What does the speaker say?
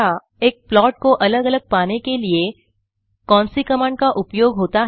एक प्लॉट को अलग अलग पाने के लिए कौनसी कमांड का उपयोग होता है